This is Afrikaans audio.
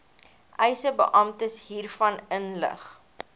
eisebeampte hiervan inlig